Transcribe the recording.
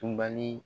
Tunbali